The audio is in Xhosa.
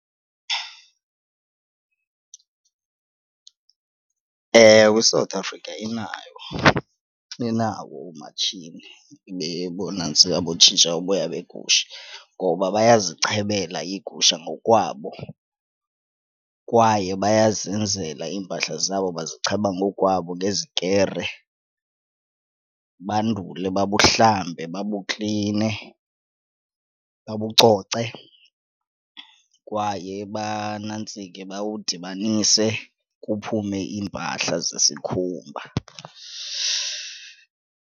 Ewe, iSouth Africa inayo, inawo oomatshini bonantsika bokutshintsha uboya begusha ngoba bayazichebela iigusha ngokwabo. Kwaye bayazenzela iimpahla zabo, bazicheba ngokwabo ngezikere bandule babuhlambe babukline, babucoce, kwaye banantsike bawudibanise kuphume iimpahla zesikhumba.